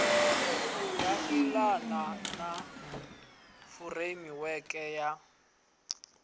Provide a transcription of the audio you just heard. ya elana na furemiweke ya